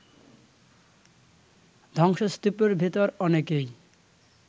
ধ্বংসস্তূপের ভেতর অনেকেই